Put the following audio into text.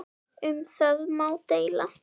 Um það má deila.